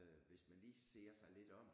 Øh hvis man lige ser sig lidt om